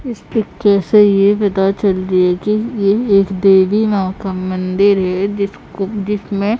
इस पिक्चर से ये पता चलती है कि ये एक देवी मां का मन्दिर है जिसको जिसमें--